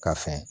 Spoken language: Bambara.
Ka fɛn